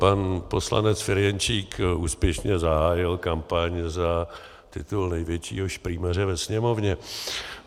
Pan poslanec Ferjenčík úspěšně zahájil kampaň za titul největšího šprýmaře ve Sněmovně.